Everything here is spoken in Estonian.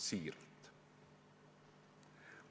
Siiralt!